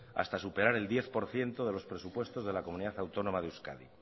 hasta superar el diez por ciento de los presupuestos de la comunidad autónoma de euskadi